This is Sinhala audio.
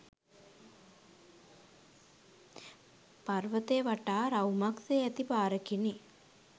පර්වතය වටා රවුමක් සේ ඇති පාරකිනි.